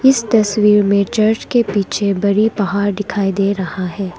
इस तस्वीर में चर्च के पीछे बड़ी पहाड़ दिखाई दे रहा है।